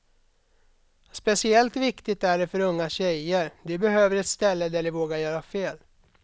Speciellt viktigt är det för unga tjejer, de behöver ett ställe där de vågar göra fel.